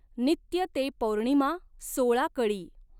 नित्य तॆ पौर्णिमा सॊळा कळी.